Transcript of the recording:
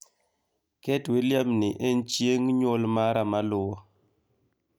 Ket william ni en chieng' nyuol mara maluwo